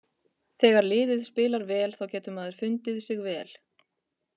Þegar liðið spilar vel þá getur maður fundið sig vel.